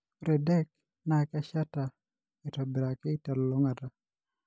Ore DEC naa kesheta aitobiraki telulung'ata.